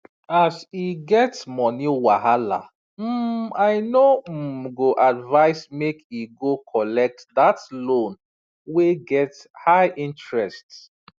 as e get money wahala um i no um go advise make e go collect that loan wey get high interest